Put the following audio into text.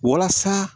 Walasa